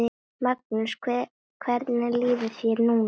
Magnús: Hvernig líður þér núna?